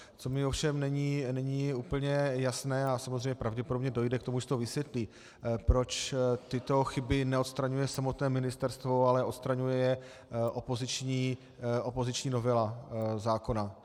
Co mi ovšem není úplně jasné, a samozřejmě pravděpodobně dojde k tomu, že se to vysvětlí, proč tyto chyby neodstraňuje samotné ministerstvo, ale odstraňuje je opoziční novela zákona.